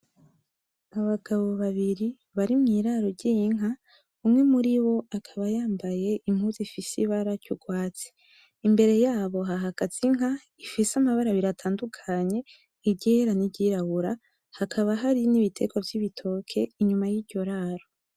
Abagabo babiri bari mw'iraro ry'inka, umwe muribo akaba yambaye impuzu ifise ibara ry'urwatsi. Imbere yabo hahagaze inka ifise amabara abiri atandukanye, iryera n'iryirabura. Hakaba hari n'ibiterwa vy'ibitoke inyuma y'iryo raro.